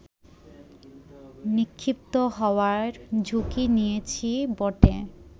নিক্ষিপ্ত হওয়ার ঝুঁকি নিয়েছি বটে